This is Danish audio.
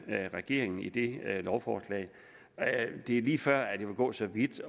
regeringen i det lovforslag det er lige før at jeg vil gå så vidt